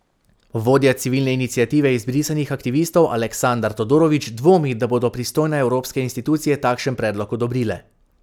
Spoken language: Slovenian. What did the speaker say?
Vodja Civilne iniciative izbrisanih aktivistov Aleksandar Todorović dvomi, da bodo pristojne evropske institucije takšen predlog odobrile.